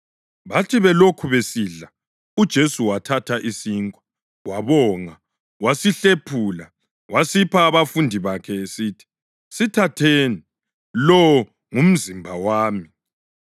Bathi belokhu besidla uJesu wathatha isinkwa, wabonga, wasihlephula, wasipha abafundi bakhe esithi, “Sithatheni; lo ngumzimba wami.”